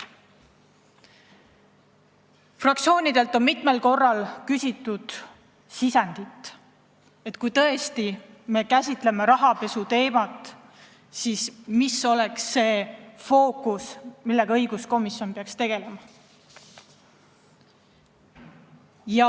Fraktsioonidelt on mitmel korral küsitud sisendit, et kui me käsitleme rahapesuteemat, siis mis oleks see fookus, millega õiguskomisjon peaks tegelema.